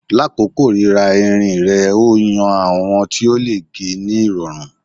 Lakoko rira irin rẹ o yan awọn ti o le ge ni irọrun